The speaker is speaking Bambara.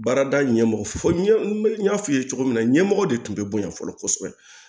Baarada ɲɛmɔgɔ fɔ n y'a fɔ i ye cogo min na ɲɛmɔgɔ de tun bɛ boyan fɔlɔ kosɛbɛ